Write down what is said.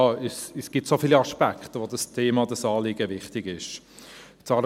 Es gibt so viele Aspekte, unter denen dieses Thema, dieses Anliegen wichtig ist.